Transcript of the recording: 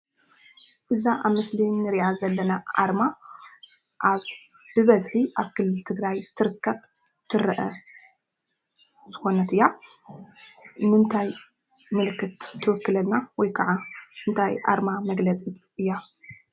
እዛ ኣብ ምስሊ ንሪኣ ዘለና ኣርማ ብበዝሒ ኣብ ክልል ትግራይ ትርከብ/ትርኤ ዝኾነት እያ፡፡ ንምንታይ ምልክት ትውክለልና ወይ ከዓ እንታይ ኣርማ መግለፂት እያ?